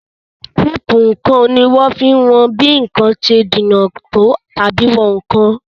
Téèpù ǹkan ni ohun tí wọ́n fi n wọn bí ǹkan ṣe jìnà tó àbí ìwọn nǹkan